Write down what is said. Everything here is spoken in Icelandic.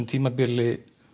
tímabili